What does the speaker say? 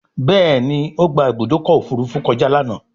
Béèni o gbà Ibùdókọ̀ òfurufú kọjá lànà.